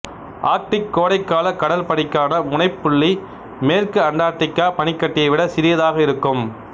Arctic கோடைக்கால கடல் பனிக்கான முனைப்புள்ளி மேற்கு அண்டார்டிக் பனிக்கட்டியை விட சிறியதாக இருக்கும்